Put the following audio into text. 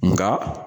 Nka